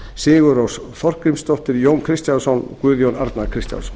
sigurrós þorgrímsdóttir jón kristjánsson og guðjón arnar kristjánsson